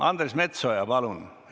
Andres Metsoja, palun!